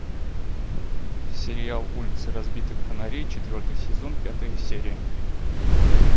сериал улицы разбитых фонарей четвертый сезон пятая серия